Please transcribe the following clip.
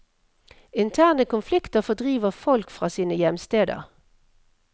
Interne konflikter fordriver folk fra sine hjemsteder.